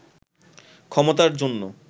ক্ষমতার জন্য